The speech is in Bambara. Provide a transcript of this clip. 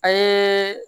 An ye